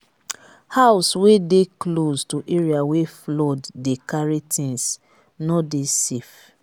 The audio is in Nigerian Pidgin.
house wey de close to area wey flood dey carry things no dey safe